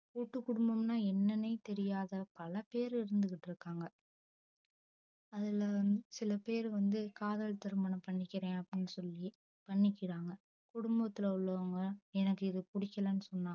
கூட்டு குடும்பம்ன்னா என்னன்னே தெரியாது பல பேர் இருந்துட்டு இருக்காங்க. அதுல வந்து சில பேர் வந்து காதல் திருமணம் பண்ணிகிறேன் சொல்லி பண்ணிகிராங்க குடும்பத்துல உள்ளவங்க எனக்கு இது புடிகிலன்னு சொன்னா